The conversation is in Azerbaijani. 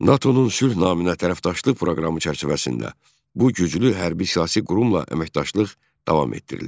NATO-nun sülh naminə tərəfdaşlıq proqramı çərçivəsində bu güclü hərbi-siyasi qurumla əməkdaşlıq davam etdirilir.